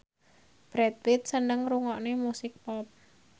Brad Pitt seneng ngrungokne musik pop